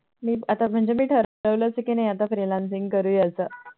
आता मी म्हणजे ठरवलंच आहे कि आता Freelancing करूया असं